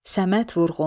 Səməd Vurğun.